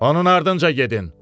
Onun ardınca gedin.